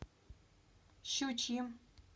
щучьим